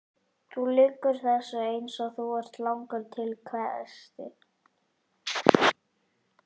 Þú lýgur þessu eins og þú ert langur til, hvæsti